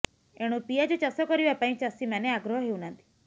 ଏଣୁ ପିଆଜ ଚାଷ କରିବା ପାଇଁ ଚାଷୀମାନେ ଆଗ୍ରହ ହେଉନାହାନ୍ତି